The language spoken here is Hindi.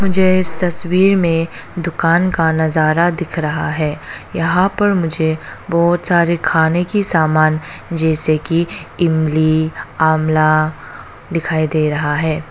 मुझे इस तस्वीर में दुकान का नजारा दिख रहा है यहां पर मुझे बहुत सारे खाने की सामान जैसे कि इमली अमला दिखाई दे रहा है।